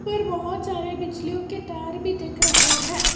ऊपर बहोत सारे बिजलियों के तार भी दिख रहे हैं।